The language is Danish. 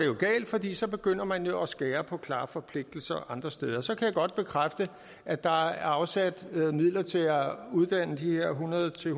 jo galt fordi så begynder man jo at skære på plejeforpligtelser andre steder så kan jeg godt bekræfte at der er afsat midler til at uddanne de her hundrede til